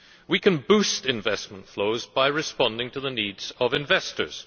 We can boost investment flows by responding to the needs of investors.